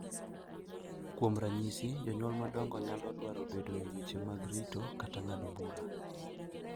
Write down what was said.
Kuom ranyisi, jonyuol madongo nyalo dwaro bedo e weche mag rito kata ng’ado bura,